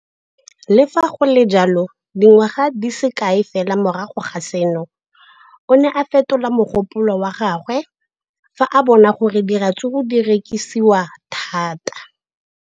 Le fa go le jalo, dingwaga di se kae fela morago ga seno, o ne a fetola mogopolo wa gagwe fa a bona gore diratsuru di rekisiwa thata.